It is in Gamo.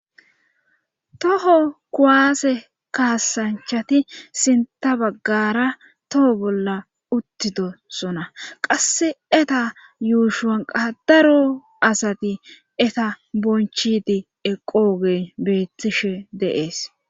toho kuwaase kaasanchati sinta baggara toho bolla uttidosona qasse eta yuushuwanqa daro asati eta bonchidi eqoogey beettishe deees